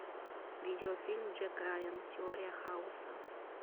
видеофильм джек райан теория хаоса